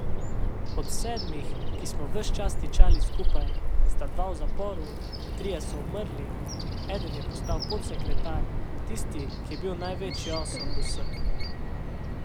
Od sedmih, ki smo ves čas tičali skupaj, sta dva v zaporu, trije so umrli, eden je postal podsekretar, tisti, ki je bil največji osel od vseh.